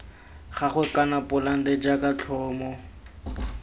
gagwe kana polante jaaka tlhomo